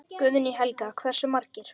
Guðný Helga: Hversu margir?